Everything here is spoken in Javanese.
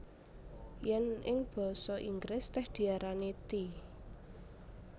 Yèn ing basa Inggris tèh diarani tea